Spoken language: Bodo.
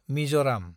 मिजराम